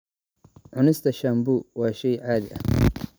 Cunista sambu waa shay caadi ah.